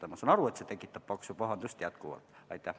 Aga ma saan aru, et see tekitab jätkuvalt paksu pahandust.